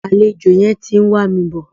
Àlejò yẹn ti ń wà mi bọ̀.